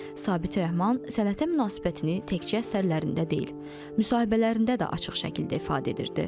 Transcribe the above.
Sabit Rəhman sənətə münasibətini təkcə əsərlərində deyil, müsahibələrində də açıq şəkildə ifadə edirdi.